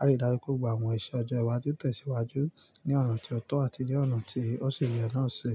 ari dáju pe àwọn ìṣe ọjọ́ iwájú tesiwájú ní ọ̀nà tí ọ̀tọ̀ àti ní ọ̀nà tí òṣìye náà ṣi.